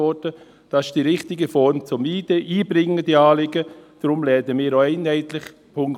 Das ist die richtige Form, um diese Anliegen einzubringen.